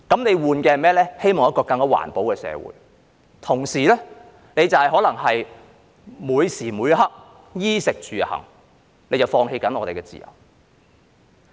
是一個更環保的社會，但同時可能在每時每刻的衣食住行方面放棄我們的自由。